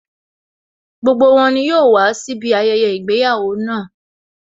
Gbogbo wọn ni yóò wàá síbi ayẹyẹ ìgbéyàwó náà